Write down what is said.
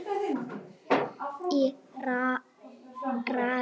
Í rauða